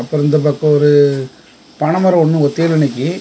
அப்பரோ இந்த பக்கோ ஒரு பன மரோ ஒன்னு ஒத்தையில நிக்கி.